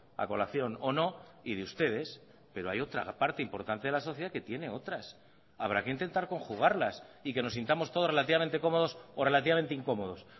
a colación o no y de ustedes pero hay otra parte importante de la sociedad que tiene otras habrá que intentar conjugarlas y que nos sintamos todos relativamente cómodos o relativamente incómodos